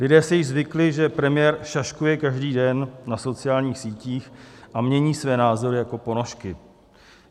Lidé si již zvykli, že premiér šaškuje každý den na sociálních sítích a mění své názory jako ponožky.